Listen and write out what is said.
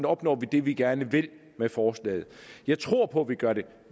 opnår vi det vi gerne vil med forslaget jeg tror på vi gør det